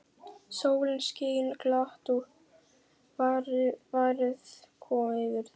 Sólin skein glatt og værð kom yfir þau.